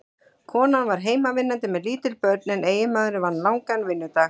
Konan var heimavinnandi með lítil börn en eiginmaðurinn vann langan vinnudag.